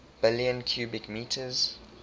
billion cubic meters